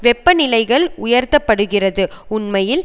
வெப்பநிலைகள் உயர்த்தப்படுகிறது உண்மையில்